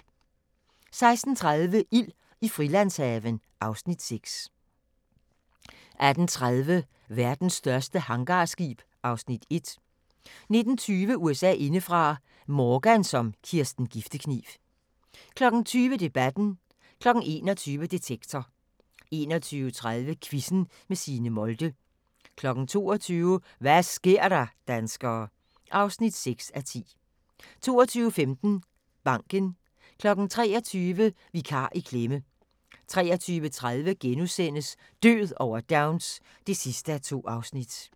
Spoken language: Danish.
16:30: Ild i Frilandshaven (Afs. 6) 18:30: Verdens største hangarskib (Afs. 1) 19:20: USA indefra: Morgan som Kirsten Giftekniv 20:00: Debatten 21:00: Detektor 21:30: Quizzen med Signe Molde 22:00: Hva' sker der, danskere? (6:10) 22:15: Banken 23:00: Vikar i klemme! 23:30: Død over Downs (2:2)*